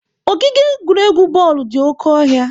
Ogige egwuregwu bọọlụ dị oke ọhịa.